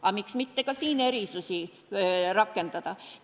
Aga miks mitte ka siin erisusi rakendada.